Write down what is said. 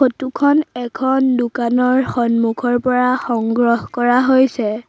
Photo খন এখন দোকানৰ সন্মুখৰ পৰা সংগ্ৰহ কৰা হৈছে।